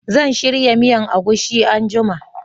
Zan shirya miyan agushi anguma